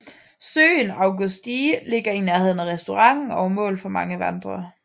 Søen Augstsee ligger i nærheden af restauranten og er mål for mange vandrere